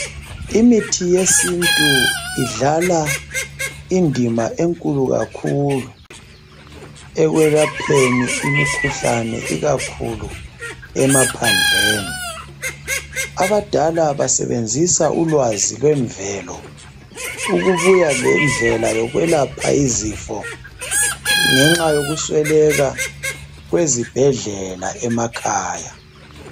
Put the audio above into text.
Imithi yesintu idlala indima enkulu kakhulu ekwelapheni imikhuhlane ikakhulu emaphandleni. Abadala basebenzisa ulwazi lwemvelo ukubuya lendlela yokwelapha izifo ngenxa yokusweleka kwezibhedlela emakhaya.